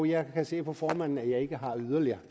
jeg kan se på formanden at jeg ikke har yderligere